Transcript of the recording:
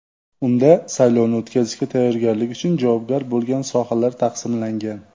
Unda saylovni o‘tkazishga tayyorgarlik uchun javobgar bo‘lgan sohalar taqsimlangan.